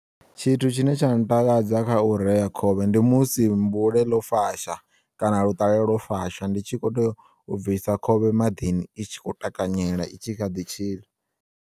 Tshithu tshine tsha ntakadza kha ureya khovhe ndi musi mbule ḽo fasha kana luṱalela lwo fasha ndi tshi khou teya u bvisa khovhe maḓini i tshi kho takanyela itshi kha ḓi tshila.